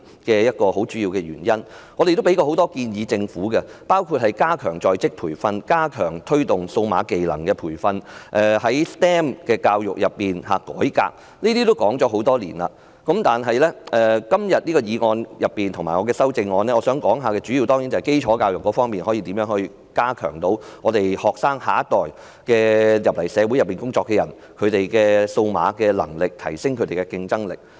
我們曾向政府提出很多建議，包括加強在職培訓，加強推動數碼技能培訓，改革 STEM 教育，這些建議已說了很多年，但今天的議案和我的修正案，當然主要是提及如何加強基礎教育，讓學生、我們的下一代，以至進入社會工作的青年人，提升數碼能力和競爭力。